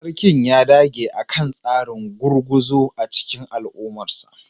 Sarkin ya dage akan tsarin gurguzu a cikin al'ummarsa